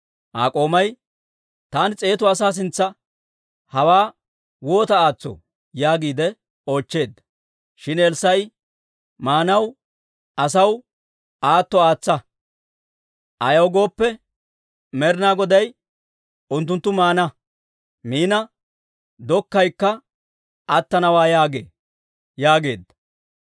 Aa k'oomay, «Taani s'eetu asaa sintsa hawaa waata aatsoo?» yaagiide oochcheedda. Shin Elssaa'i, «Maanaw asaw aatsa; ayaw gooppe, Med'ina Goday unttunttu miina dokkaykka attanawaa yaagee» yaageedda.